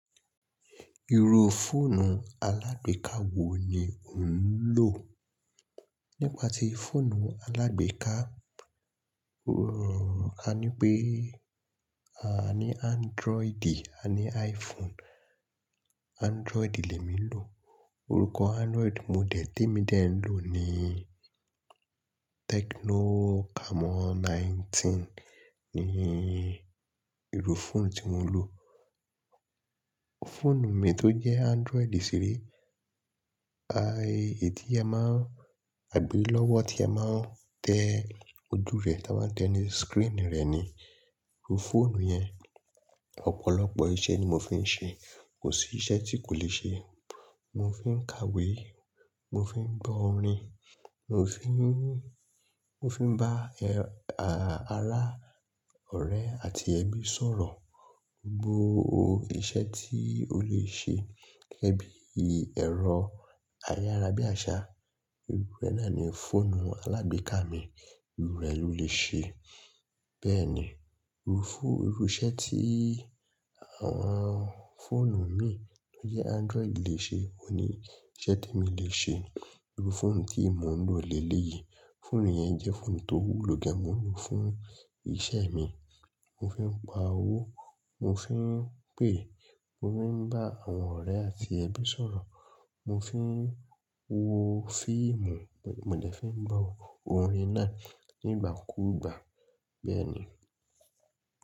Iru fóònù alágbèéká wo ni ò ń lò? Nípa tí fóònù alágbèéká, rọ̀ ká ní pé a ní Android àní iPhone. Android lè mi lò. Orúkọ Android model tí mi dè ń lò ni Tecno Camon 19 ni irú fóònù tí mò ń lò. Fóònù mi tó jẹ́ Android ṣìrí, aì èyí tí a máa ń, àgbe lọ́wọ́ tí a máa ń tẹ ojú rẹ̀, tí a máa ń tẹ ni screen rẹ̀ ni. Iru fóònù yẹn ọ̀pọ̀lọpọ̀ iṣẹ́ ni mò fí ń ṣe. Kò sí iṣẹ́ tí kò lè ṣe. Mò fí ń kàwé, mò fí ń gbọ́ orin, mò fí ń, mò fí ń bá ẹ, àrá, ọ̀rẹ́ àti ẹbí sọ̀rọ̀. Gbo, iṣẹ́ tí ó lè ṣe gẹ́gẹ́ bí ẹ̀rọ ayára bí àsá, irú rẹ̀ náà ni fóònù alágbèéká mi. Irú rẹ̀ ló lè ṣe. Bẹ́ẹ̀ ni, irú fú, irú iṣẹ́ tí àwọn fóònù mí tó jẹ́ Android lè ṣe ò ní iṣẹ́ temi lè ṣe. Irú fóònù tí mò ń lò lélẹ̀ yìí, fóònù yẹn jẹ́ fóònù tó wúlò gẹ́gẹ́ mò lò fún iṣẹ́ mi. Mò fí ń pa owó, mò fí ń pè, mò fí ń bá àwọn ọ̀rẹ́ àti ẹbí sọ̀rọ̀, mò fí ń wo fíìmù, mò dẹ́ fí ń gbọ́ orin náà nígbà kú ìgbà. Bẹ́ẹ̀ ni.